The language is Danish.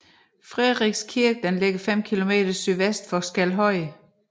Frederiks Kirke ligger 5 km sydvest for Skelhøje